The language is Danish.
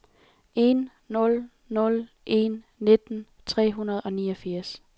en nul nul en nitten tre hundrede og niogfirs